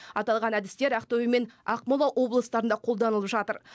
аталған әдістер ақтөбе және ақмола облыстарында қолданылып жатыр